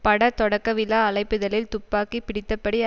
பட தொடக்கவிழா அழைப்பிதழில் துப்பாக்கி பிடித்தபடி